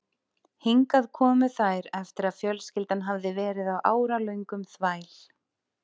Hingað komu þær eftir að fjölskyldan hafði verið á áralöngum þvæl